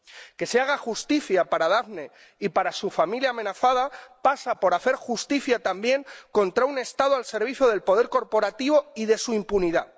Que se haga justicia para Daphne y para su familia amenazada pasa por hacer justicia también contra un Estado al servicio del poder corporativo y de su impunidad.